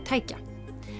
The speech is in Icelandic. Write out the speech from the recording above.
tækja